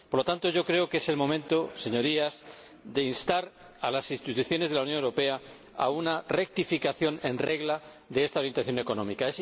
Po lo tanto, yo creo que es el momento, Señorías, de instar a las instituciones de la Unión Europea a una rectificación en regla de esta orientación económica.